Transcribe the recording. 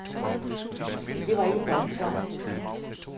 Det var ikke første gang.